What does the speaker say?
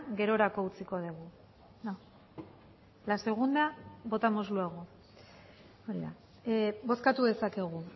gerorako utziko dugu la segunda votamos luego bozkatu dezakegu